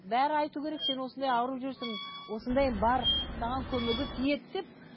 бәрі айту керек сен осындай ауырып жүрсің осындай бар саған көмегі тиеді деп